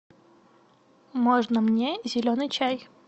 можно мне зеленый чай